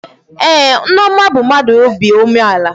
Ee, Nneoma bụ mmadụ obi umeala